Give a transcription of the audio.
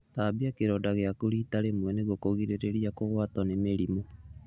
Thambia kĩronda gĩaku rita rĩmwe nĩguo kũgirĩrĩria kũgwatio nĩ mĩrimũ.